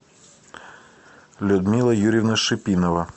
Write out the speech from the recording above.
людмила юрьевна шипинова